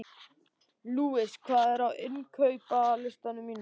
Louise, hvað er á innkaupalistanum mínum?